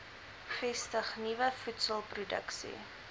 vestig nuwe voedselproduksie